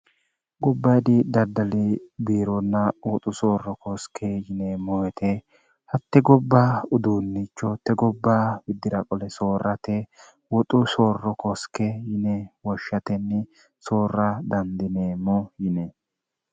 gobba idi daddali biironna oxu soorro kooske yineemmoete hatte gobba uduunnichootte gobba widdiraqole soorrate woxu soorro kooske yine woshshatenni soorra dandineemmo yine